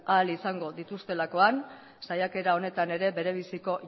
ahal izango dituztelakoan saiakera honetan ere bere biziko